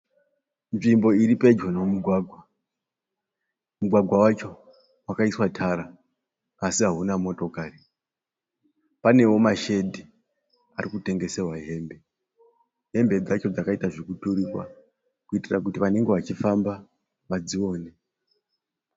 Nzvimbo iri pedyo nomugwagwa, mugwagwa wacho wakaiswa tara asi hauna motokari, panewo mashedhi ari kutengesewa hembe, hembe dzacho dzakaita zvokuturikwa kuitira kuti vanenge vachifamba vadzione.